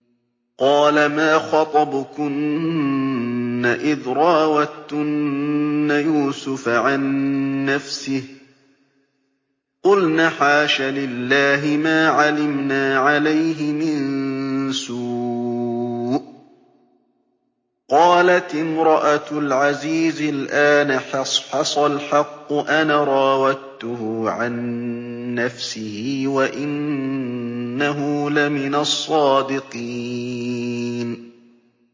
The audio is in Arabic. قَالَ مَا خَطْبُكُنَّ إِذْ رَاوَدتُّنَّ يُوسُفَ عَن نَّفْسِهِ ۚ قُلْنَ حَاشَ لِلَّهِ مَا عَلِمْنَا عَلَيْهِ مِن سُوءٍ ۚ قَالَتِ امْرَأَتُ الْعَزِيزِ الْآنَ حَصْحَصَ الْحَقُّ أَنَا رَاوَدتُّهُ عَن نَّفْسِهِ وَإِنَّهُ لَمِنَ الصَّادِقِينَ